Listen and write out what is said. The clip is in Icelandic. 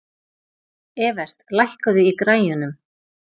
Evert, lækkaðu í græjunum.